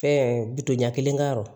Ɛɛ biton ɲɛ kelen ka yɔrɔ